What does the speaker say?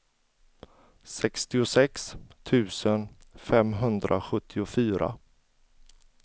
sextiosex tusen femhundrasjuttiofyra